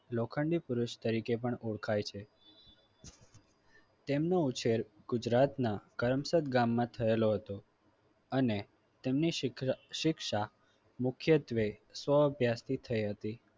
લોખંડી પુરુષ તરીકે પણ ઓળખાય છે. તેમનો ઉછેર ગુજરાતના કરમસદ ગામમાં થયેલો હતો અને તેમની શિખ શિક્ષા મુખ્યત્વે સો અભ્યાસથી થયેલી હતી.